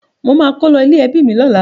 Mo máa kó lo ilé-ẹ́bi mi lọ́la.